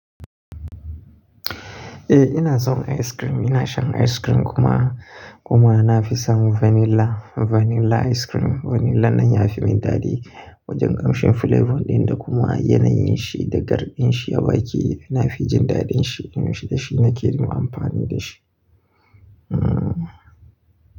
Eh ina son ice cream. Ina shan ice cream kuma, kuma na fi son vanilla, vanilla ice cream. Vanilla nan ya fi min daɗi wajen kamshin flavor dinsa kuma yanayin shi da garbin shi a baki yana fi jin daɗin shi. Da shi nake kuma amfani da shi. Hmm.